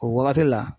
O wagati la